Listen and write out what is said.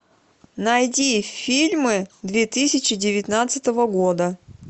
найди фильмы две тысячи девятнадцатого года